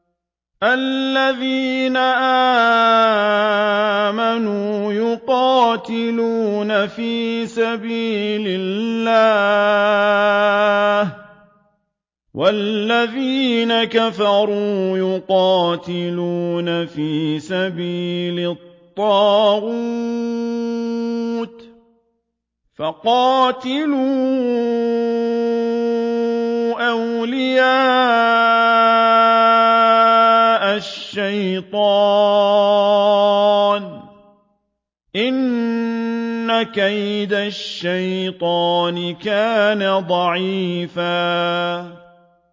الَّذِينَ آمَنُوا يُقَاتِلُونَ فِي سَبِيلِ اللَّهِ ۖ وَالَّذِينَ كَفَرُوا يُقَاتِلُونَ فِي سَبِيلِ الطَّاغُوتِ فَقَاتِلُوا أَوْلِيَاءَ الشَّيْطَانِ ۖ إِنَّ كَيْدَ الشَّيْطَانِ كَانَ ضَعِيفًا